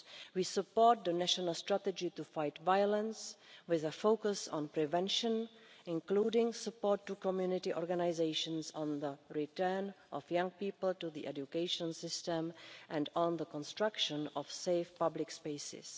We support the national strategy to fight violence with a focus on prevention, including support to community organisations on the return of young people to the education system and on the construction of safe public spaces.